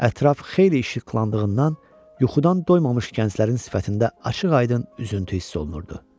Ətraf xeyli işıqlandığından yuxudan doymamış gənclərin sifətində açıq-aydın üzüntü hissi olunurdu.